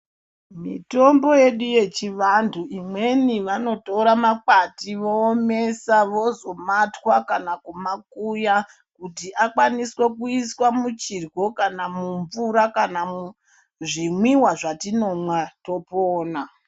Mitombo yedu yechivantu imweni vanotora makwati voomesa vozomatwa kana kumakuya kuti akwanise kuiswa muchirwo kana mumvura kana zvinwiwa zvatinonwa topona.